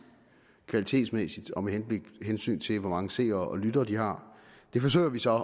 kvalitetsmæssigt og med hensyn til hvor mange seere og lyttere de har det forsøger vi så